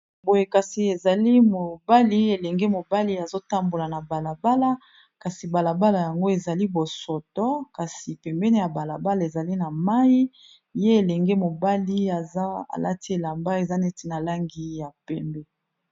Boye kasi ezali mobali, elenge mobali azotambola na balabala kasi balabala yango ezali bosoto kasi pembeni ya balabala ezali na mayi ye elenge mobali aza alati elamba eza neti na langi ya pembe.